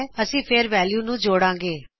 ਅਸੀ ਫੇਰਮਵੈਲਯੂਜ਼ ਨੂੰ ਜੋੜਾਂ ਗੇ